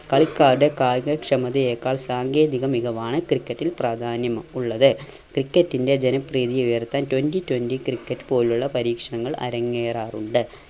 കളിക്കാരുടെ കായിക ക്ഷമതയേക്കാൾ സാങ്കേതിക മികവാണ് ക്രിക്കറ്റിൽ പ്രാധാന്യം ഉള്ളത്. ക്രിക്കറ്റിൻറെ ജനപ്രീതി ഉയർത്താൻ twenty twenty ക്രിക്കറ്റ് പോലുള്ള പരീക്ഷണങ്ങൾ അരങ്ങേറാറുണ്ട്.